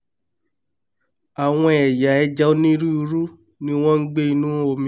àwọn ẹ̀yà ẹja onírúirú ní wọ́n ń gbé'nú omi